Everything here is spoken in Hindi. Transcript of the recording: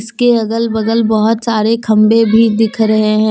इसके अगल बगल बोहत सारे खम्बे भी दिख रहे है।